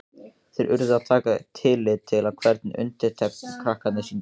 Þeir urðu að taka tillit til hvernig undirtektir krakkarnir sýndu.